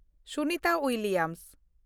Sunita William